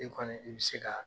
E kɔni i bi se ka